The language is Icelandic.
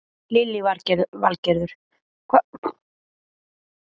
Lillý Valgerður: Hvað eru þið að sýna verk eftir marga listamenn?